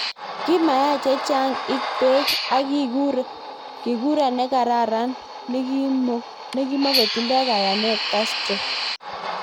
Kimeyia chechang ik peg, ak kikura negararan nikimukotindo kayanet Castro.